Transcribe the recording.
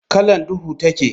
Kallon duhu take.